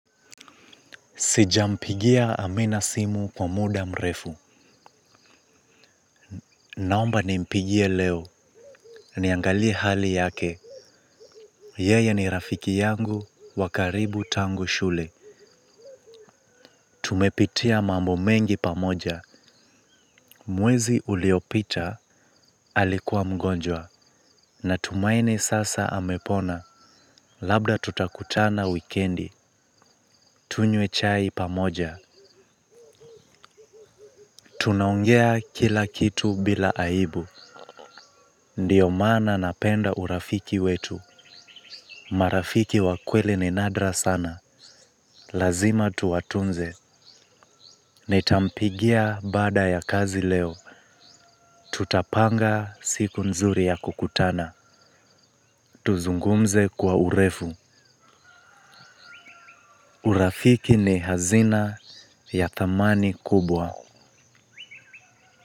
Sijampigia Amina simu kwa muda mrefu. Naomba nimpigie leo. Niangalie hali yake. Yeye ni rafiki yangu. Wa karibu tangu shule. Tumepitia mambo mengi pamoja. Mwezi uliopita alikua mgonjwa. Natumaini sasa amepona. Labda tutakutana wikendi. Tunywe chai pamoja. Tunaongea kila kitu bila aibu. Ndiyo mana napenda urafiki wetu. Marafiki wa kweli ni nadra sana. Lazima tuwatunze. Nitampigia baada ya kazi leo. Tutapanga siku nzuri ya kukutana. Tuzungumze kwa urefu. Urafiki ni hazina ya thamani kubwa.